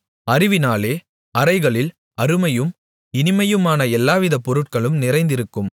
அறிவினாலே அறைகளில் அருமையும் இனிமையுமான எல்லாவிதப் பொருள்களும் நிறைந்திருக்கும்